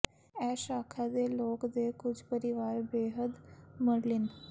ਇਹ ਸ਼ਾਖਾ ਦੇ ਲੋਕ ਦੇ ਕੁਝ ਪਰਿਵਾਰ ਬੇਹੱਦ ਮਰਲਿਨ